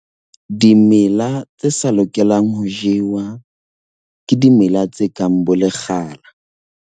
Dimela tse sa lokelang ho jewa ke dimela tse kang bolekgala.